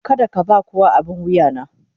Kada ka ba kowa abin wuya na.